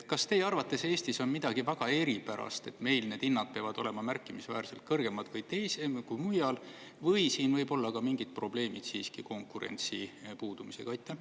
Kas teie arvates Eestis on midagi väga eripärast, et meil need hinnad peavad olema märkimisväärselt kõrgemad kui mujal, või siin võivad olla ka mingid probleemid siiski konkurentsi puudumisega?